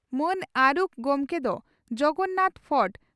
ᱢᱟᱹᱱ ᱟᱨᱩᱠᱷ ᱜᱚᱢᱠᱮ ᱫᱚ ᱡᱚᱜᱚᱱᱟᱛᱷ ᱯᱷᱚᱴᱚ